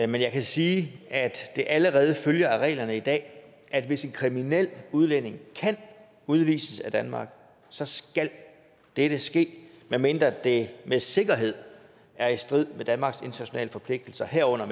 men jeg kan sige at det allerede følger af reglerne i dag at hvis en kriminel udlænding kan udvises af danmark så skal dette ske medmindre det med sikkerhed er i strid med danmarks internationale forpligtelser herunder